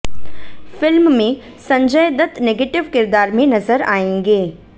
film में Sanjay Dutt negative किरदार में नजर आयेंगे